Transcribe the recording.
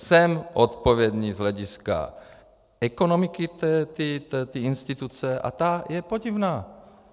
Jsem odpovědný z hlediska ekonomiky té instituce a ta je podivná.